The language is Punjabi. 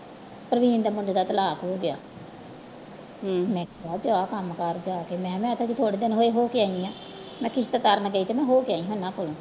ਪਰਵੀਨ ਦੇ ਮੁੰਡੇ ਦਾ ਤਲਾਕ ਹੋ ਗਿਆ ਕਿਹਾ ਜਾ ਕੰਮ ਕਰ ਜਾ ਕੇ ਮੈਂ ਕਿਹਾ ਮੈਂ ਹਜੇ ਥੋੜ੍ਹੇ ਦਿਨ ਹੋਏ ਹੋ ਕੇ ਆਈ ਹਾਂ ਮੈਂ ਕਿਸਤ ਕਰਨ ਗਈ ਤੇ ਮੈਂ ਹੋ ਕੇ ਆਈ ਸੀ ਉਹਨਾਂ ਕੋਲ